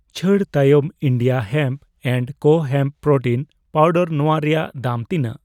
ᱪᱷᱟᱹᱲ ᱛᱟᱭᱚᱢ India hemp and ᱠᱳ ᱦᱮᱢᱯ ᱯᱨᱳᱴᱤᱱ ᱯᱟᱣᱰᱟᱨ ᱱᱚᱣᱟ ᱨᱮᱱᱟᱜ ᱫᱟᱢ ᱛᱤᱱᱟᱜ?